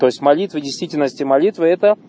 то есть молитвы в действительности молитвы это